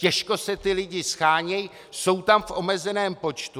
Těžko se ti lidi shánějí, jsou tam v omezeném počtu.